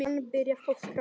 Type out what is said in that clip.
Hann byrjar að skrá.